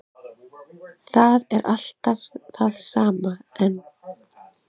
Það er allt við það sama enn